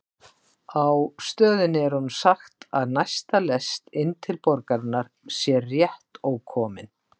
Á stöðinni er honum sagt að næsta lest inn til borgarinnar sé rétt ókomin.